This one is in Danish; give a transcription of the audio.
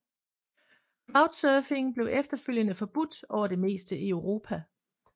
Crowdsurfing blev efterfølgende forbudt over det meste af Europa